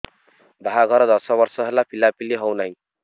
ବାହାଘର ଦଶ ବର୍ଷ ହେଲା ପିଲାପିଲି ହଉନାହି